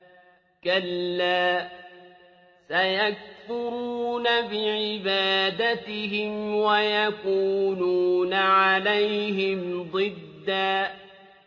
كَلَّا ۚ سَيَكْفُرُونَ بِعِبَادَتِهِمْ وَيَكُونُونَ عَلَيْهِمْ ضِدًّا